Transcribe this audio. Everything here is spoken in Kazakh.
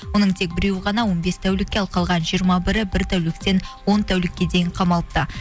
оның тек біреуі ғана он бес тәулікке ал қалған жиырма бірі бір тәуліктен он тәулікке дейін қамалыпты